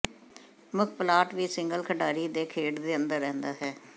ਮੁੱਖ ਪਲਾਟ ਵੀ ਸਿੰਗਲ ਖਿਡਾਰੀ ਨੂੰ ਖੇਡ ਦੇ ਅੰਦਰ ਰਹਿੰਦਾ ਹੈ